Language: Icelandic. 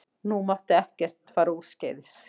Nú mátti ekkert fara úrskeiðis.